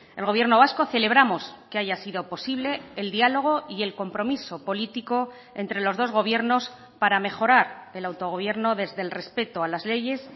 el gobierno vasco celebramos que haya sido posible el diálogo y el compromiso político entre los dos gobiernos para mejorar el autogobierno desde el respeto a las leyes